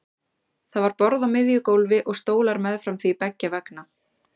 Það var borð á miðju gólfi og stólar meðfram því beggja vegna.